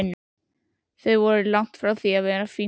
Þau voru langt frá því að vera fínt fólk.